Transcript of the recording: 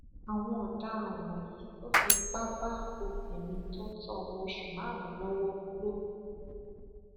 àwọn ọdaràn wọnyí tún fipá bá obìnrin tó ń tọ ọmọ osùn márùnún lọwọ lò pọ